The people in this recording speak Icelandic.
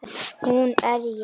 Hún er ég.